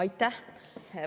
Aitäh!